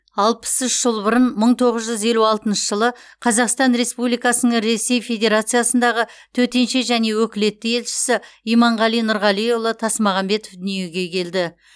алпыс үш жыл бұрын мың тоғыз жүз елу алтыншы жылы қазақстан республикасының ресей федерациясындағы төтенше және өкілетті елшісі иманғали нұрғалиұлы тасмағамбетов дүниеге келді